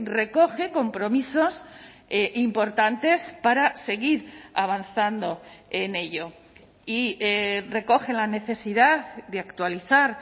recoge compromisos importantes para seguir avanzando en ello y recoge la necesidad de actualizar